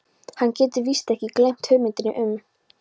Hann getur víst alveg gleymt hugmyndinni um